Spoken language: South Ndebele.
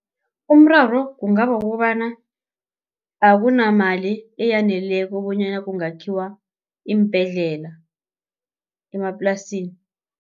Umraro kungaba kukobana akunamali eyaneleko bonyana kungakhiwa iimbhedlela emaplasini.